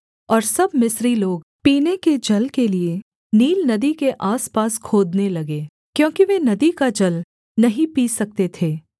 और सब मिस्री लोग पीने के जल के लिये नील नदी के आसपास खोदने लगे क्योंकि वे नदी का जल नहीं पी सकते थे